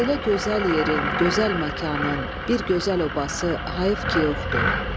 Belə gözəl yerin, gözəl məkanın, bir gözəl abası hayıf ki yoxdur.